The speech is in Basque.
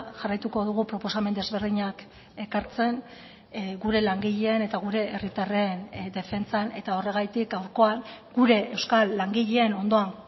jarraituko dugu proposamen desberdinak ekartzen gure langileen eta gure herritarren defentsan eta horregatik gaurkoan gure euskal langileen ondoan